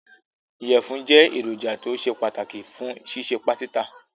Ìyẹ̀fún jẹ́ èròjà tó ṣe pàtàkì fún ṣíṣe pásítà.